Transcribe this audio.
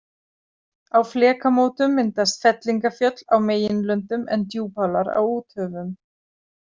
Á flekamótum myndast fellingafjöll á meginlöndum en djúpálar á úthöfum.